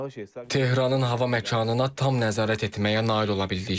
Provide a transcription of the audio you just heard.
Tehranın hava məkanına tam nəzarət etməyə nail ola bildik.